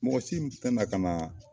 Mɔgɔ si tɛ na ka na